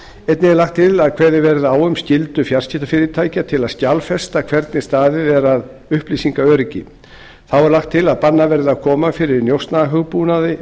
einnig er lagt til að kveðið verði á um skyldu fjarskiptafyrirtækja til að skjalfesta hvernig staðið er að upplýsingaöryggi þá er lagt til að bannað verði að koma fyrir